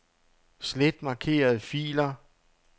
Slet markerede filer.